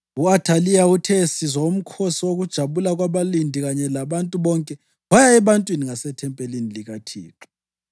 U-Athaliya uthe esizwa umkhosi wokujabula kwabalindi kanye labantu bonke, waya ebantwini ngasethempelini likaThixo.